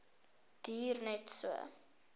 duur net so